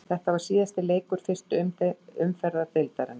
Þetta var síðasti leikur fyrstu umferðar deildarinnar.